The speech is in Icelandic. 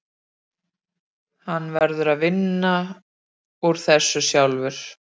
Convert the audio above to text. Hann verður að vinna úr þessu sjálfur.